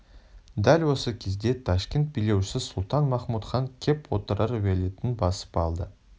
дәл осы кезде ташкент билеушісі сұлтан-махмуд хан кеп отырар уәлиетін басып алды